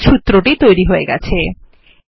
দ্বিঘাত সূত্রটি তৈরী হয়ে গেছে